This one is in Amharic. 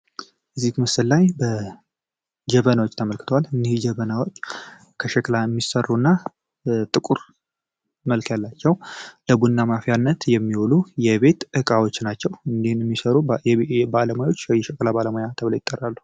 በዚህ ምስል ላይ ጀበናዎች ተመልክተዋል ጀበናዎች ከሸክላ የሚሰሩ እና ጥቁር መልክ ያላቸው ለቡና ማፍያነት የሚዉሉ የቤት እቃዎች ናቸው። እኒህን የሚሰሩ ባለሙያዎች የሸክላ ባለሙያ ተብለው ይጠራሉ።